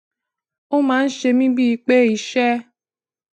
ó máa ń ṣe mí bíi pé iṣé